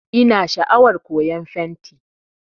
Ina sha'awar koyan fenti